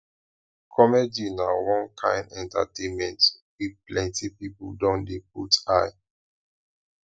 comedy na one kain entertainment wey plenty pipo don dey put eye